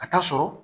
Ka taa sɔrɔ